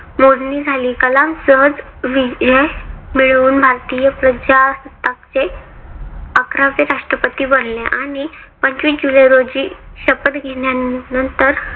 मोजणी झाली. कलाम सहज विजय मिळवून, भारतीय प्रजासत्ताकचे अकरावे राष्ट्रपती बनले. आणि पंचवीस जुलै रोजी शपथ घेण्यानंतर